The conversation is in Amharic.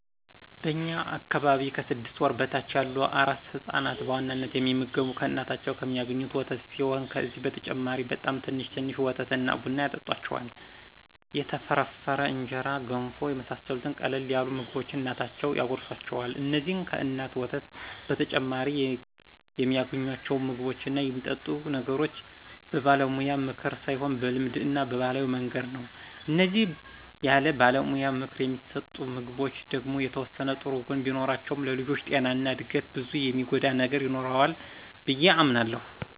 በእኛ አካባቢ ከስድስት ወር በታች ያሉ አራስ ህፃናት በዋናነት የሚመገቡ ከእናታቸው የሚአገኙትን ወተት ሲሆን ከዚህ በተጨማሪ በጣም ትንሽ ትንሽ ወተት እና ቡና ያጠጡአቸዋል፣ የተፈረፈረ እንጀራ፣ ገንፎ የመሳሰሉትን ቀለል ያሉ ምግቦችን እናቶቻቸው ያጎርሱአቸዋል። እንዚህን ከእናት ወተት በተጨማሪ የሚአገኙአቸውን ምግቦች እና የሚጠጡ ነገሮች በባለሙያ ምክር ሳይሆን በልማድ እና በባህላዊ መንገድ ነው። እነዚህ ያለባለሙያ ምክር የሚሰጡ ምግቦች ደግሞ የተወሰነ ጥሩ ጎን ቢኖራቸውም ለልጆቹ ጤና እና እድገት ብዙ የሚጎዳ ነገር ይኖረዋል ብዬ አምናለሁ።